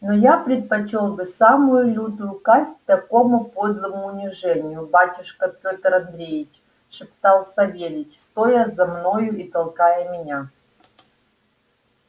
но я предпочёл бы самую лютую казнь такому подлому унижению батюшка пётр андреич шептал савельич стоя за мною и толкая меня